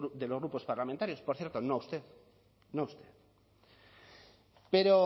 de los grupos parlamentarios por cierto no a usted no a usted pero